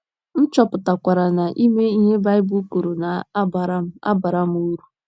M chọpụtakwara na ime ihe Baịbụl kwuru na - abara m - abara m uru.